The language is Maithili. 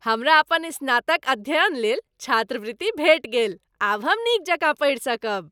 हमरा अपन स्नातक अध्ययन लेल छात्रवृत्ति भेटि गेल। आब हम नीक जकाँ पढ़ि सकब।